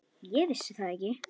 Ég vissi það ekki.